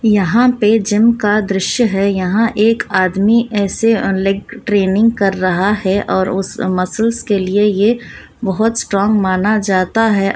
यहाँ पे जिम का दृश्य है यहाँ एक आदमी ऐसे अन्लाइक ट्रेनिंग कर रहा है और उस मसल्स के लिए ये बहुत स्ट्रॉंग माना जाता है।